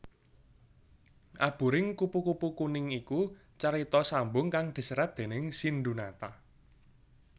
Aburing Kupu kupu Kuning iku carita sambung kang diserat déning Sindhunata